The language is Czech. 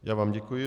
Já vám děkuji.